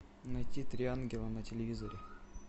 найти три ангела на телевизоре